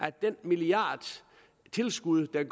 af den milliard i tilskud der